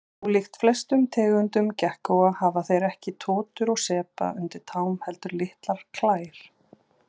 Ólíkt flestum tegundum gekkóa hafa þeir ekki totur og sepa undir tám heldur litlar klær.